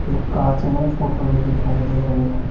एक कांच में फोटो भी दिखाई दे रही है।